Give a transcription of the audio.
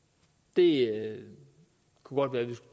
det kunne være det